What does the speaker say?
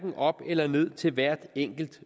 op eller ned til hvert enkelt